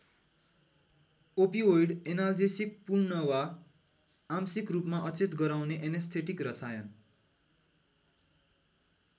Opioid analgesic पूर्ण वा आंशिक रूपमा अचेत गराउने एनेस्थेटिक रसायन।